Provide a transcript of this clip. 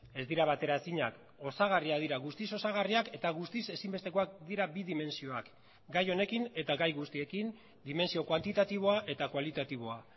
ez dira bateraezinak osagarriak dira guztiz osagarriak eta guztiz ezinbestekoak dira bi dimentsioak gai honekin eta gai guztiekin dimentsio kuantitatiboa eta kualitatiboa